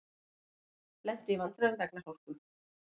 Lentu í vandræðum vegna hálku